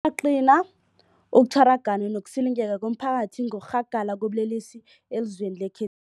yaqina ukutjhara, gana nokusilingeka komphakathi ngokurhagala kobulelesi elizweni lekhe